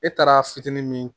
E taara fitini min